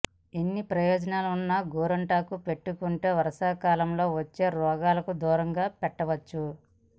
ఇన్ని ప్రయోజనాలున్న గోరింటాకును పెట్టుకుంటే వర్షాకాలంలో వచ్చే రోగాలను దూరం పెట్టవచ్చును